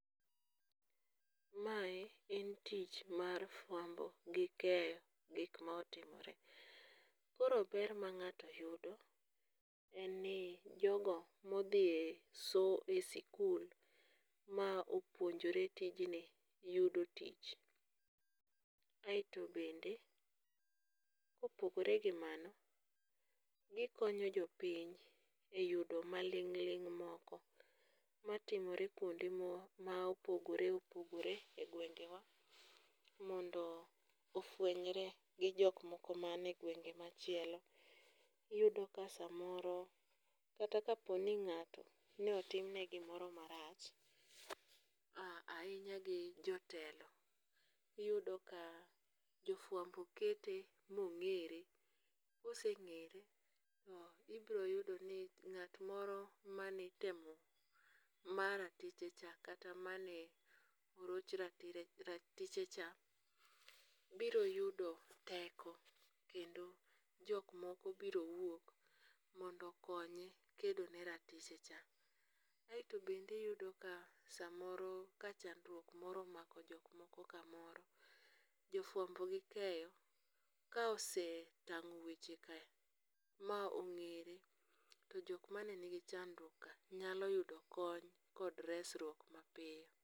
Mae en tich mar fuambo gi keyo gik ma otimore. Koro ber mang'ato yudo, en ni jogo modhie somo e sikul ma opuonjore tijni yudo tich. Aeto bende kopogore gi mano gikonyo jopiny e yudo maling' ling' moko matimore kuonde mo ma opogore opogore e gwengewa mondo ofwenyre gi jok moko manie ngwenge machielo, iyudo ka samoro kata ka oponi ng'ato ne otimne gimoro marach ahinya gi jotelo, iyudo ka jofuambo kete mong'ere , koseng'ere to ibroyudo ni ng'at moro manitemo ma ratichecha kata mane oroch ratichecha biro yudo teko kendo jok moko biro wuok mondo konye kedone ratichecha, aeto bende iyudo ka samoro ka chandruok moro omako jok moko kamoro jafuambo gikeyo kaese otang'o weche ka ma ong'ere to jok mane nigi chandruok ka nyalo yudo kony kod resruok mapiyo